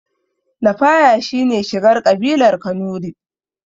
Lafaya shine shigar ƙabilar kanurai